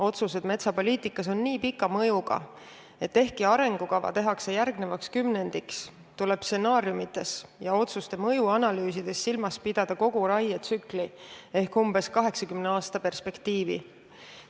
Otsused metsapoliitikas on nii pika mõjuga, et ehkki arengukava tehakse järgmiseks kümnendiks, tuleb stsenaariumides ja otsuste mõjuanalüüsides silmas pidada kogu raietsükli ehk umbes 80 aasta perspektiivi.